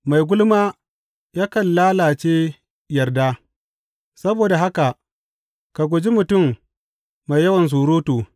Mai gulma yakan lalace yarda; saboda haka ka guji mutum mai yawan surutu.